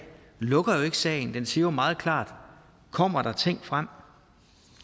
lukker sagen det siger jo meget klart kommer der ting frem